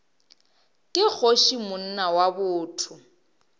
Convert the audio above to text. ke kgoši monna wa botho